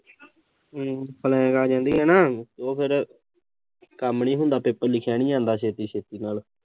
ਹਮ flying ਆ ਜਾਂਦੀ ਆ ਨਾ ਉਹ ਫਿਰ ਕੰਮ ਨੀਂ ਹੁੰਦਾ, ਪੇਪਰ ਲਿਖਿਆ ਨੀਂ ਜਾਂਦਾ, ਛੇਤੀ-ਛੇਤੀ ਨਾਲ